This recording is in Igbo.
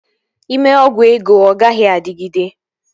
Ị mee ọgwụ ego, ọ gaghị adịgide